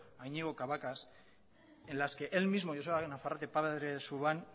a iñigo cabacas en las que él mismo joseba nafarrate padre de xuban